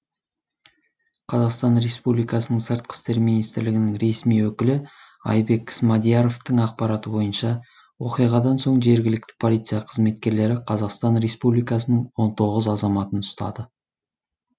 қазақстан республикасының сыртқы істер министрлігінің ресми өкілі айбек смадияровтың ақпараты бойынша оқиғадан соң жергілікті полиция қызметкерлері қазақстан республикасының он тоғыз азаматын ұстады